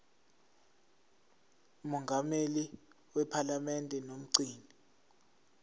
mongameli wephalamende nomgcini